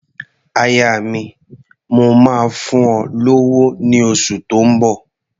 Aya mi, mò máa fún ọ lówó ní oṣù tó ń bọ̀.